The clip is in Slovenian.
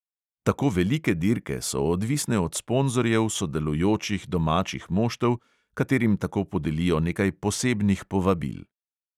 Tako velike dirke so odvisne od sponzorjev sodelujočih domačih moštev, katerim tako podelijo nekaj posebnih povabil.